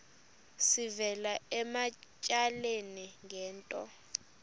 sivela ematyaleni ngento